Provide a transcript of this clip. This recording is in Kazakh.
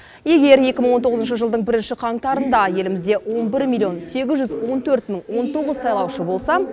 егер екі мың он тоғызыншы жылдың бірінші қаңтарында елімізде он бір миллион сегіз жүз он төрт мың он тоғыз сайлаушы болса